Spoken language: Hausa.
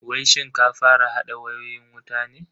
Wai shin ka fara hada wayoyin wutan ne?